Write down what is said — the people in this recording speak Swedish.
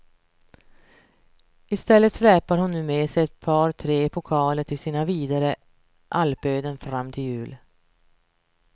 I stället släpar hon nu med sig ett par tre pokaler till sina vidare alpöden fram till jul.